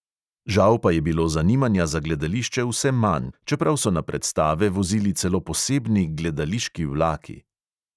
Žal pa je bilo zanimanja za gledališče vse manj, čeprav so na predstave vozili celo posebni gledališki vlaki.